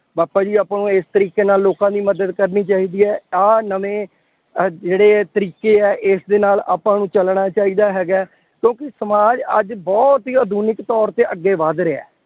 ਪਾਪਾ ਜੀ ਆਪਾਂ ਨੂੰ ਇਸ ਤਰੀਕੇ ਨਾਲ ਲੋਕਾਂ ਦੀ ਮਦਦ ਕਰਨੀ ਚਾਹੀਦੀ ਹੈ। ਆਹ ਨਵੇਂ ਅਹ ਜਿਹੜੇ ਤਰੀਕੇ ਹੈ ਇਸਦੇ ਨਾਲ ਆਪਾਂ ਨੂੰ ਚੱਲਣਾ ਚਾਹੀਦਾ ਹੈਗਾ। ਕਿਉਂਕਿ ਸਮਾਜ ਅੱਜ ਬਹੁਤ ਹੀ ਆਧੁਨਿਕ ਤੋਰ ਤੇ ਅੱਗੇ ਵੱਧ ਰਿਹਾ।